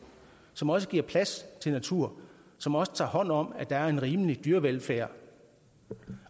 som også giver plads til natur som også tager hånd om at der er en rimelig dyrevelfærd